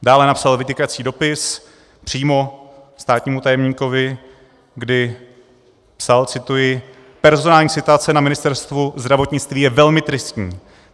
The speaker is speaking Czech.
Dále napsal vytýkající dopis přímo státnímu tajemníkovi, kdy psal, cituji: "Personální situace na Ministerstvu zdravotnictví je velmi tristní.